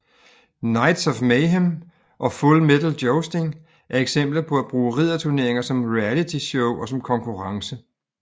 Knights of Mayhem og Full Metal Jousting er eksempler på at bruge ridderturneringer som realityshow og som konkurrence